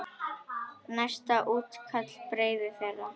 Næsta útkall beið þeirra.